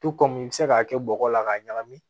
To kɔmi i bi se k'a kɛ bɔgɔ la k'a ɲagami